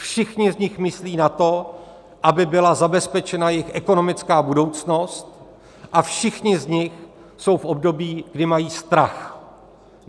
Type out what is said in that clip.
Všichni z nich myslí na to, aby byla zabezpečena jejich ekonomická budoucnost, a všichni z nich jsou v období, kdy mají strach.